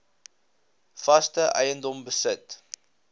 vaste eiendom besit